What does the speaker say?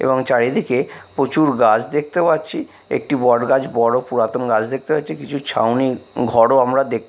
এবং চারিদিকে প্রচুর গাছ দেখতে পাচ্ছি একটি বট গাছ বড়ো পুরাতন গাস দেখতে পাচ্ছি কিছু ছাউনি ঘরও আমরা দেখ--